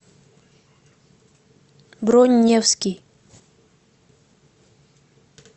бронь невский